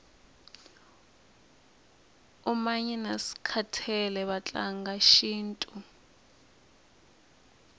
umanyi naskhathele vatlanga shintu